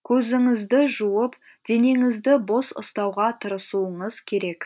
көзіңізді жуып денеңізді бос ұстауға тырысуыңыз керек